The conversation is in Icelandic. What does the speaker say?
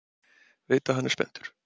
Veit að hann er spenntur.